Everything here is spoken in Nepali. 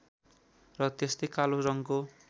र त्यस्तै कालो रङको